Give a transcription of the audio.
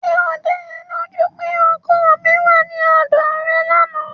Ṣé ó da ẹ lójú pé ọkọ mi wá sí ọ̀dọ̀ rẹ lánàá?